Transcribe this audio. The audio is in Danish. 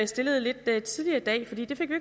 stillede lidt tidligere i dag for det det fik vi